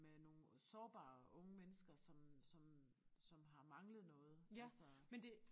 Med nogle sårbare unge mennesker som som som har manglet noget altså